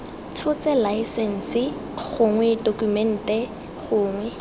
tshotse laesense gongwe tokumente gongwe